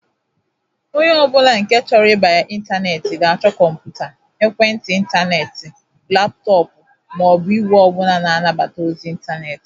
Onye ọbụla nke chọrọ ibanye intaneeti ga-achọ kọmpụta, Ekwentị intaneeti, laptoopu, ma o bụ igwe ọbụla na-anabata ozi intaneti.